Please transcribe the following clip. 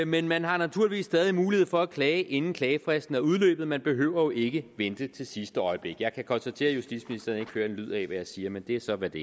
men man har naturligvis stadig mulighed for at klage inden klagefristen er udløbet man behøver jo ikke at vente til sidste øjeblik jeg kan konstatere at justitsministeren ikke hører en lyd af hvad jeg siger men det er så hvad det